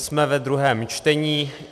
Jsme ve druhém čtení.